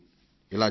ఇలా చేస్తే